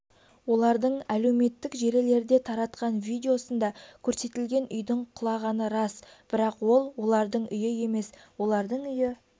олардың әлеуметтік желілерде таратқан видеосында көрсетілген үйдің құлағаны рас бірақ ол олардың үйі емес олардың үйі